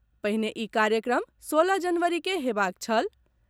पहिने ई कार्यक्रम सोलह जनवरी के हेबाक छल।